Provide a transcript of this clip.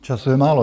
Času je málo.